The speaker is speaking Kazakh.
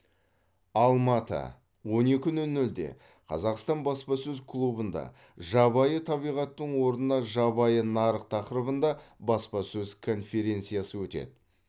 алматы он екі нөл нөлде қазақстан баспасөз клубында жабайы табиғаттың орнына жабайы нарық тақырыбында баспасөз конференциясы өтеді